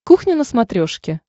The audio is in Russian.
кухня на смотрешке